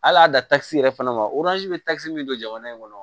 Hali a da takisi yɛrɛ fana ma bɛ takisi min don jamana in kɔnɔ